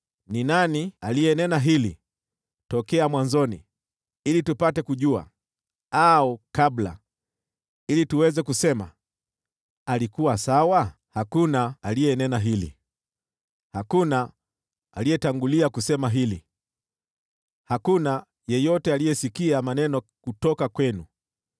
Ni nani aliyenena hili tokea mwanzoni, ili tupate kujua, au kabla, ili tuweze kusema, ‘Alikuwa sawa’? Hakuna aliyenena hili, hakuna aliyetangulia kusema hili, hakuna yeyote aliyesikia maneno kutoka kwenu.